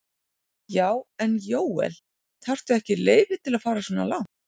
Já. en Jóel, þarftu ekki leyfi til að fara svona langt?